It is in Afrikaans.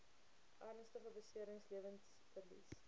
ernstige beserings lewensverlies